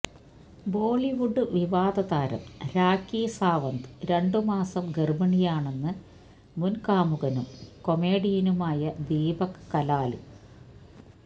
ബോളിവുഡ് വിവാദതാരം രാഖി സാവന്ത് രണ്ട് മാസം ഗര്ഭിണിയാണെന്ന് മുന് കാമുകനും കൊമേഡിയനുമായ ദീപക് കലാല്